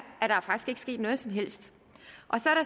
sket noget som helst